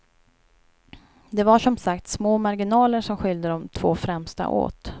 Det var som sagt små marginaler som skilde de två främsta åt.